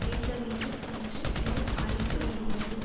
வைக்க வேண்டும் என்று இது அழைப்பு விடுகிறது